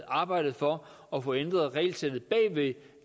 arbejdet for at få ændret regelsættet bag ved